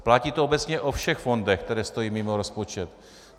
Platí to obecně o všech fondech, které stojí mimo rozpočet.